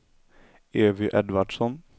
Evy Edvardsson